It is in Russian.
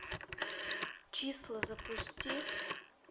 числа запусти